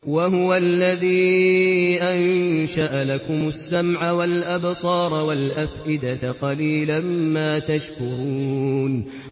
وَهُوَ الَّذِي أَنشَأَ لَكُمُ السَّمْعَ وَالْأَبْصَارَ وَالْأَفْئِدَةَ ۚ قَلِيلًا مَّا تَشْكُرُونَ